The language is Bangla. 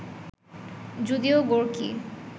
যদিও গোর্কি